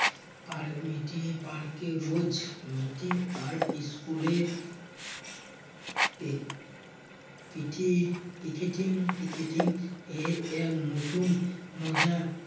পার meeting park এ রোজ meeting আর school এর take piti~ picketing picketing এর এক নতুন মজা